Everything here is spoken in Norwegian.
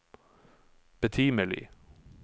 betimelig